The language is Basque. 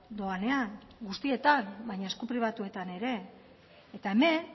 doanean guztietan baina esku pribatuetan ere hemen